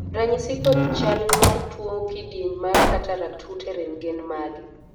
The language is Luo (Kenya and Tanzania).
ranyisi kod chal mar tuo kidieny mar Cataract Hutterite gin mage?